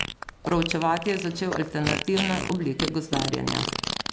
Proučevati je začel alternativne oblike gozdarjenja.